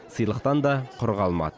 сыйлықтан да құр қалмады